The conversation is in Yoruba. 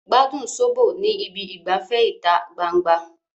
Gbádùn sóbò ní ibi ìgbafẹ́ ìta gbangba